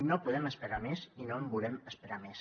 no podem esperar més i no volem esperar més